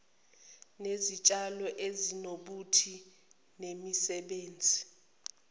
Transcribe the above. nezitshalo ezinobuthi inemisebenzi